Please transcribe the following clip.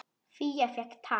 Fía fékk tak.